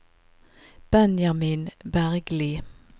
Benjamin Bergli